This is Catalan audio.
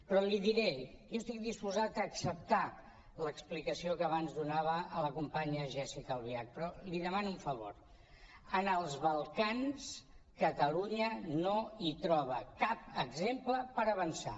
però li diré jo estic disposat a acceptar l’explicació que abans donava a la companya jéssica albiach però li demano un favor en els balcans catalunya no hi troba cap exemple per avançar